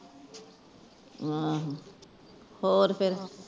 ਆਹੋ ਹੋਰ ਫੇਰ